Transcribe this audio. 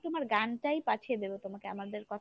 তোমার গানটাই পাঠিয়ে দেক তোমাকে আমাদের